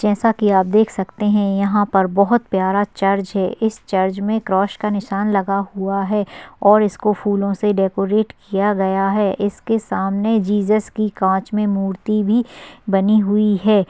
जैसा की आप देख सकते है यहा पर बहुत प्यारा चर्च है इस चर्च मे क्रॉस का निशान लगा हुआ है और इसको फुल्लो से डेकोरेट किया गया है इसके सामने जीजेस की काच मे मूर्ति भी बनी हुई है।